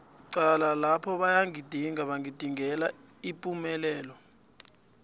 cala lapha bayagidinga bagidingela ipumelelo